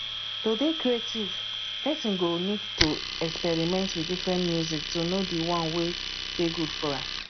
to dey creative person go need to experiment with different music to know di one wey dey good for am